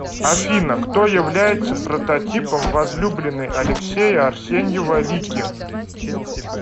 афина кто является прототипом возлюбленной алексея арсеньева лики